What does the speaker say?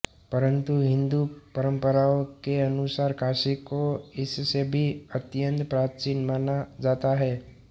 परन्तु हिन्दू परम्पराओं के अनुसार काशी को इससे भी अत्यंत प्राचीन माना जाता है